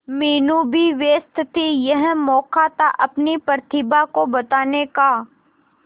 मीनू भी व्यस्त थी यह मौका था अपनी प्रतिभा को बताने का